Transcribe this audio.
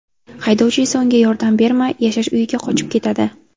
Haydovchi esa unga yordam bermay, yashash uyiga qochib ketadi.